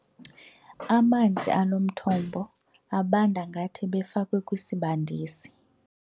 Amanzi alo mthombo abanda ngathi ebefakwe kwisibandisi.